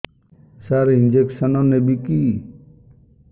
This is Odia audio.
ସାର ଇଂଜେକସନ ନେବିକି